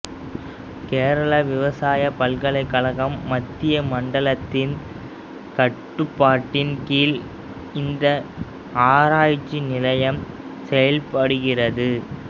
கேரள விவசாய பல்கலைக்கழகம் மத்திய மண்டலத்தின் கட்டுப்பாட்டின் கீழ் இந்த ஆராய்ச்சி நிலையம் செயல்படுகிறது